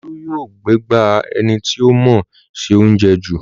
Olú yóò gbégbá ẹni tí ó mọọ ṣe óuńjẹ jù